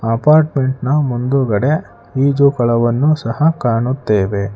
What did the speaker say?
ಅಪಾರ್ಟ್ಮೆಂಟ್ನ ಮುಂದುಗಡೆ ಈಜು ಕೊಳವನ್ನು ಸಹ ಕಾಣುತ್ತೇವೆ.